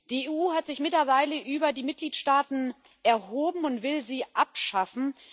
Die EU hat sich mittlerweile über die Mitgliedstaaten erhoben und will sie abschaffen.